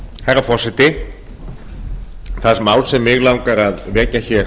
herra forseti það mál sem mig langar að vekja hér